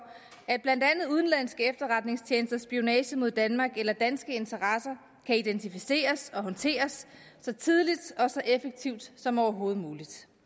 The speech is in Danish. at blandt andet udenlandske efterretningstjenesters spionage mod danmark eller danske interesser kan identificeres og håndteres så tidligt og effektivt som overhovedet muligt